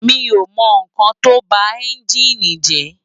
Mi ó mò n kán tó bá ènjini jè